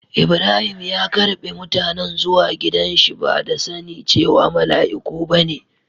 lbrahim ya ƙarbe mutanen zuwa gidan shi ba da sani cewa malaiku ba ne.